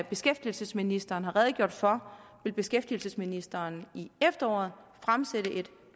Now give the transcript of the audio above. beskæftigelsesministeren har redegjort for vil beskæftigelsesministeren i efteråret fremsætte et